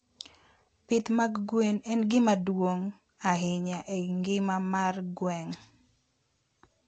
Pith mag gwen en gima duong' ahinya e ngima mar gweng'.